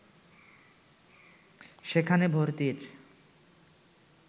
সেখানে ভর্তির